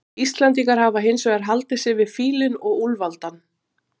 Íslendingar hafa hins vegar haldið sig við fílinn og úlfaldann.